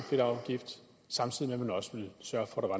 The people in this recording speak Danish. fedtafgift samtidig med at man også ville sørge for